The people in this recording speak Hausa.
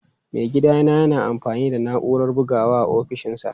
Maigidana yana amfani da na'urar bugawa a ofishinsa.